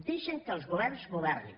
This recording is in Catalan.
deixin que els governs governin